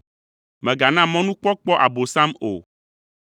Mègana mɔnukpɔkpɔ Abosam o.